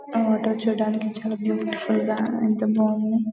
ఆ వాటర్ చూడడానికి చాల బ్యూటిఫుల్ గ యెంత బాగుండి.